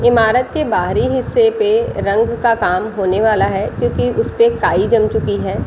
इमारत के बाहरी हिस्से पे रंग का काम होने वाला है क्यूंकि उस पे काई जम चुकी है ।